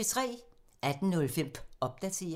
18:05: Popdatering